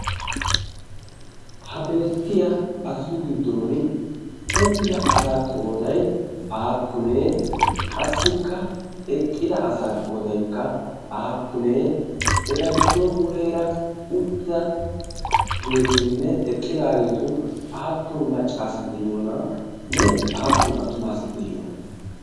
ha beettiya asatu giddon uttida asaa qoodai aappunee qassikka eqqida asaa qoodaikka aappunee eta giddon muleera uttidaageetuninne eqqidaageetun aappun maccaasati deyyoonanne aappune attumaa asati de'yoona?